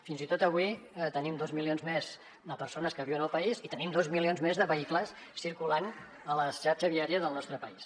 fins i tot avui tenim dos milions més de persones que viuen al país i tenim dos milions més de vehicles circulant a la xarxa viària del nostre país